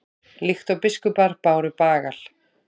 líkt og biskupar báru bagal